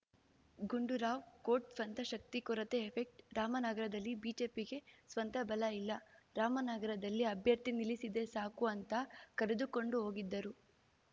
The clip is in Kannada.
ಗುಂಡೂರಾವ್‌ ಕೋಟ್‌ ಸ್ವಂತ ಶಕ್ತಿ ಕೊರತೆ ಎಫೆಕ್ಟ್ ರಾಮನಗರದಲ್ಲಿ ಬಿಜೆಪಿಗೆ ಸ್ವಂತ ಬಲ ಇಲ್ಲ ರಾಮನಗರದಲ್ಲಿ ಅಭ್ಯರ್ಥಿ ನಿಲ್ಲಿಸಿದ್ರೆ ಸಾಕು ಅಂತ ಕರೆದುಕೊಂಡು ಹೋಗಿದ್ದರು